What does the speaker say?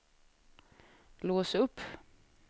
lås upp